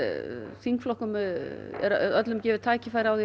þingflokkum er öllum gefið tækifæri á því að